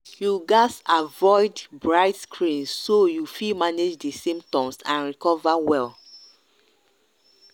you gatz avoid bright screen so you fit manage di symptoms and recover well.